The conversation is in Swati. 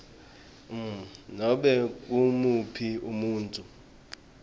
nobe ngumuphi umuntfu